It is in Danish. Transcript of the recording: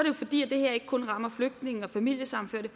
jo fordi det her ikke kun rammer flygtninge og familiesammenførte